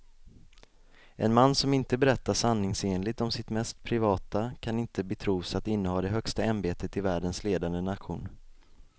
En man som inte berättar sanningsenligt om sitt mest privata kan inte betros att inneha det högsta ämbetet i världens ledande nation.